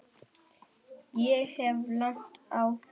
Ég hef lent í því.